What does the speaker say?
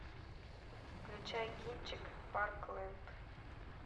включай кинчик парклэнд